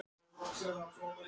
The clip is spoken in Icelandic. Hversu langt er hægt að fara?